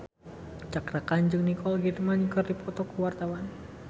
Cakra Khan jeung Nicole Kidman keur dipoto ku wartawan